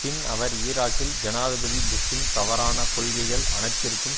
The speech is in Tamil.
பின் அவர் ஈராக்கில் ஜனாதிபதி புஷ்ஷின் தவறான கொள்கைகள் அனைத்திற்கும்